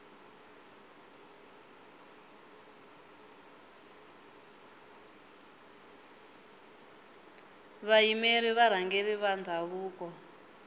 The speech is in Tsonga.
vayimeri va varhangeri va ndhavuko